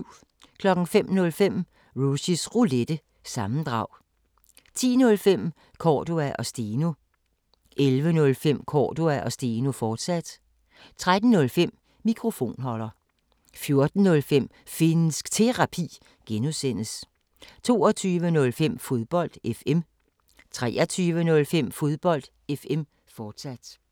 05:05: Rushys Roulette – sammendrag 10:05: Cordua & Steno 11:05: Cordua & Steno, fortsat 13:05: Mikrofonholder 14:05: Finnsk Terapi (G) 22:05: Fodbold FM 23:05: Fodbold FM, fortsat